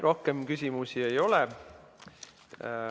Rohkem küsimusi ei ole.